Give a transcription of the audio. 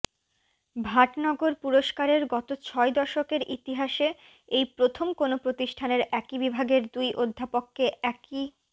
ভাটনগর পুরস্কারের গত ছয় দশকের ইতিহাসে এই প্রথম কোনও প্রতিষ্ঠানের একই বিভাগের দুই অধ্যাপককে একই